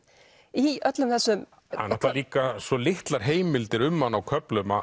í öllum þessum það eru líka svo litlar heimildir um hann á köflum